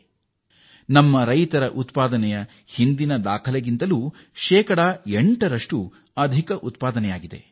ಇದು ನಮ್ಮ ರೈತರು ಈ ಹಿಂದೆ ಮಾಡಿದ್ದ ದಾಖಲೆಗಿಂತ ಶೇಕಡ 8ರಷ್ಟು ಹೆಚ್ಚಾಗಿದೆ